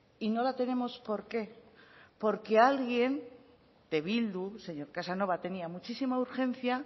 y no la tenemos por qué porque alguien de bildu señor casanova tenía muchísima urgencia